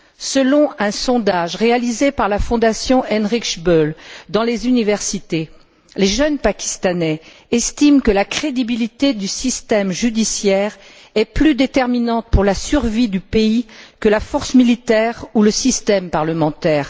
Selon un sondage réalisé par la Fondation Heinrich Böll dans les universités, les jeunes Pakistanais estiment que la crédibilité du système judiciaire est plus déterminante pour la survie du pays que la force militaire ou le système parlementaire.